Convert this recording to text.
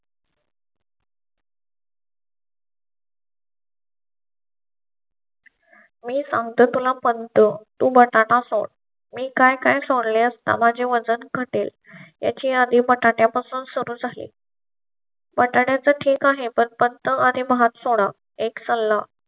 मी सांगते तुला पण चं तुम टाटा असोत मी काय काय सोडले असता? माझे वजन घटेल याची आणि बटाट्या पासून सुरूच आहे. बटाट्याचं ठीक आहे पण पथ च आणि भात सोडा एक सल्ला